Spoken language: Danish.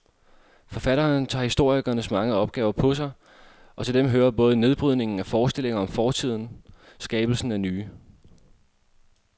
Forfatteren tager historikerens mange opgaver på sig, og til dem hører både nedbrydningen af forestillinger om fortiden skabelsen af nye.